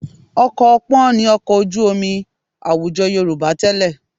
Ọkọ̀ ọpọ́n ni ọkọ̀ ojú omi àwùjọ Yorùbá tẹ́lẹ̀